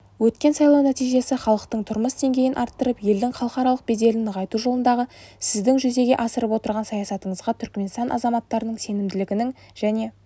өткен сайлау нәтижесі халықтың тұрмыс деңгейін арттырып елдің халықаралық беделін нығайту жолындағы сіздің жүзеге асырып отырған саясатыңызға түрікменстан азаматтарының сенімінің және